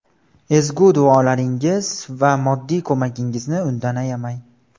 Ezgu duolaringiz va moddiy ko‘magingizni undan ayamang.